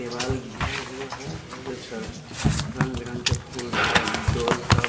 दीवाल घिरा हुआ है और इस तरफ रंग बिरंगे फूल सब--